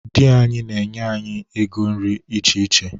Di anyị na-enye anyị ego nri iche iche.